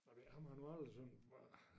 Nej men jeg ham har jeg nu aldrig synes var